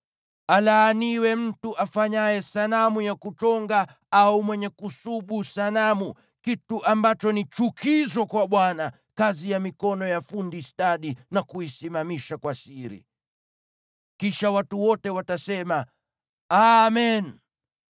“Alaaniwe mtu afanyaye sanamu ya kuchonga au mwenye kusubu sanamu, kitu ambacho ni chukizo kwa Bwana , kazi ya mikono ya fundi stadi, na kuisimamisha kwa siri.” Kisha watu wote watasema, “Amen!”